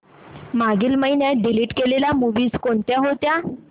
मागील महिन्यात डिलीट केलेल्या मूवीझ कोणत्या होत्या